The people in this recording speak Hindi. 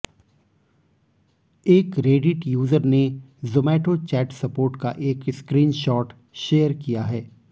एक रेडिट यूजर ने जोमैटो चैट सपोर्ट का एक स्क्रीनशॉट शेयर किया है